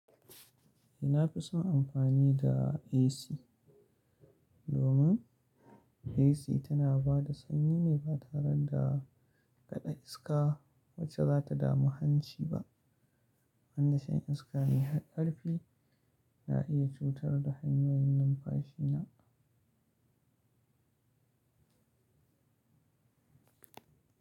Eh, na fi son amfani da AC domin AC tana ba da sanyi ne batare da kaɗa iska wacce za ta damu hanci ba. Wanda shan iska mai ƙarfi na iya cutar da hanyoyin numfashi na.